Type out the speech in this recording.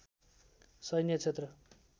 सैन्य क्षेत्र